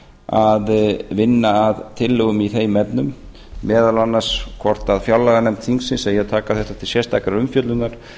að vinna að tillögum í þeim efnum meðal annars hvort fjárlaganefnd þingsins eigi að taka þetta til sérstakrar umfjöllunar og